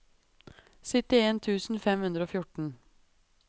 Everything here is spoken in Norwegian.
syttien tusen fem hundre og fjorten